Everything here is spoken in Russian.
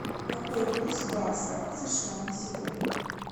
какой курс бакса сша на сегодня